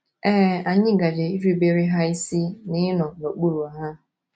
Ee, anyị gaje irubere ha isi na ịnọ n’okpuru ha.